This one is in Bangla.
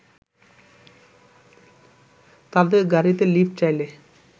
তাদের গাড়িতে লিফ্ট চাইলে